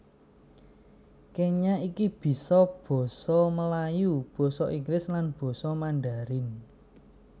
Kenya iki bisa basa Melayu basa Inggris lan basa Mandharin